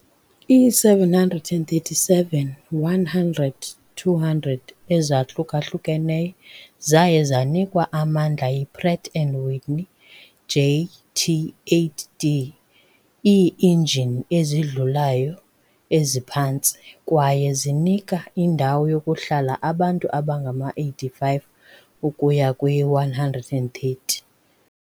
Ii-737-100, 200 ezahlukahlukeneyo zaye zanikwa amandla yi-Pratt and Whitney JT8D ii-injini ezidlulayo eziphantsi kwaye zinika indawo yokuhlala abantu abangama-85 ukuya kwi-130.